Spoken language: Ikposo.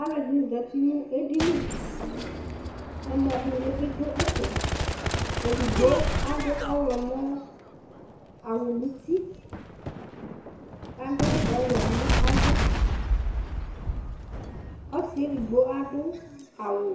Aluɛdini zati nu edini ɛmɔ kpɔ ivli du ɛfɛ edigbo adu ɔɣlɔmɔ awu nu uti kadu ɔwɛ nava ɔsiedigbo adu awu